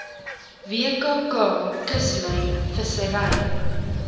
wkk kuslyn vissery